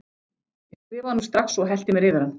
Ég skrifaði honum strax og hellti mér yfir hann.